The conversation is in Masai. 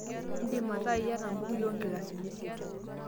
indim ataa iyata imbukui oo nkilasini isiet